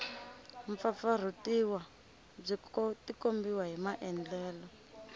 pfapfarhutiwa byi tikombisa hi maandlalelo